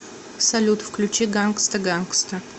салют включи гангста гангста